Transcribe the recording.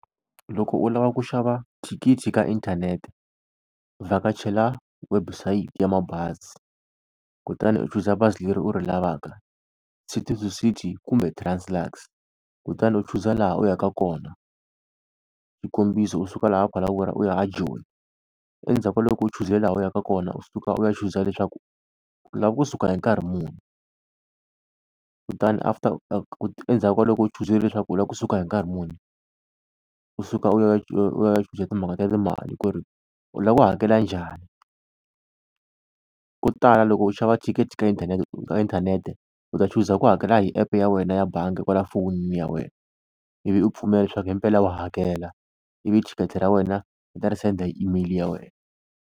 Loko u lava ku xava thikithi ka inthanete, vhakachela website ya mabazi kutani u chuza bazi leri u ri lavaka City to City kumbe Translux. Kutani u chuza laha u ya ka kona xikombiso u suka laha Phalaborwa u ya a Joni. Endzhaku ka loko u chuze laha u ya ka kona, u suka u ya chuza leswaku u lava kusuka hi nkarhi muni. Kutani after endzhaku ka loko u chuzile leswaku u lava kusuka hi nkarhi muni, u suka u ya u ya u ya chuza timhaka ta timali ku ri u lava ku hakela njhani. Ko tala loko u xava thikithi ka inthanete, ka inthanete u ta chuza ku hakela hi app ya wena ya bangi kwala fonini ya wena, ivi u pfumela leswaku hi mpela wa hakela ivi thikithi ra wena va ta ri senda hi email ya wena.